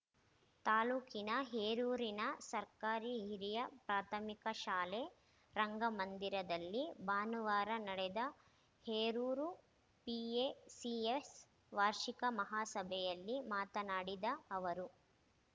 ತಾಲೂಕಿನ ಹೇರೂರಿನ ಸರ್ಕಾರಿ ಹಿರಿಯ ಪ್ರಾಥಮಿಕ ಶಾಲೆ ರಂಗ ಮಂದಿರದಲ್ಲಿ ಭಾನುವಾರ ನಡೆದ ಹೇರೂರು ಪಿಎಸಿಎಸ್‌ ವಾರ್ಷಿಕ ಮಹಾಸಭೆಯಲ್ಲಿ ಮಾತನಾಡಿದ ಅವರು